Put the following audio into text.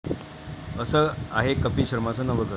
असं आहे कपील शर्माचं नवं 'घर'